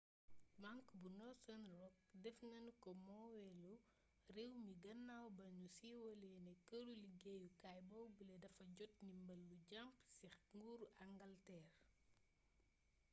bank bu northern rock def nanu ko moomeelu réew mi gannaaw ba nu siiwalee ne këru liggéeyukaay boobule dafa jot ndimbal lu jàmp ci nguuru angalteer